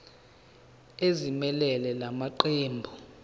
ezimelele la maqembu